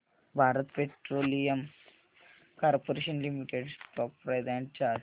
Bharat Petroleum Corporation Limited stock price and chart